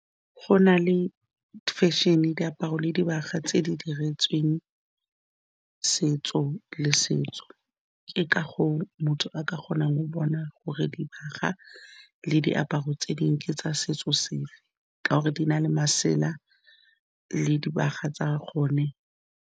Go na le fashion-e, diaparo le dibaga tse di diretsweng setso le setso, ke ka goo motho a ka kgonang go bona gore dibaga le diaparo tse dingwe tsa setso sefe ka gore di na le masela le dibaga tsa gone.